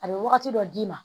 A bɛ wagati dɔ d'i ma